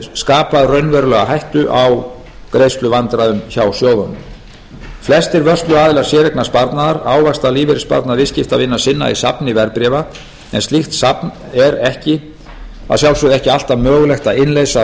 skapað raunverulega hættu á greiðsluvandræðum hjá sjóðunum flestir vörsluaðilar séreignarsparnaðar ávaxta lífeyrissparnað viðskiptavina sinna í safni verðbréfa en slíkt safn er að sjálfsögðu ekki alltaf mögulegt að innleysa að